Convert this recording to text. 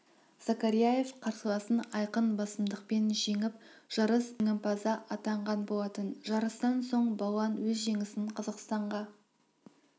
закарияев қарсыласын айқын басымдық жеңіп жарыс жеңімпазы атанған болатын жарыстан соң балуан өз жеңісін қазақстанға